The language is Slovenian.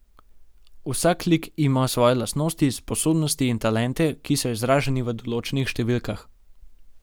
Vsak lik ima svoje lastnosti, sposobnosti in talente, ki so izraženi v določenih številkah.